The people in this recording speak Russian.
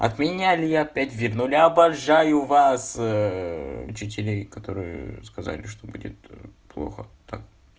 отменяли я опять вернули обожаю вас учителей которые сказали что будет тоже плохо так